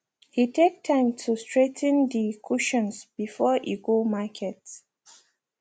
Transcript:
he take time to straigh ten de cushions before e go market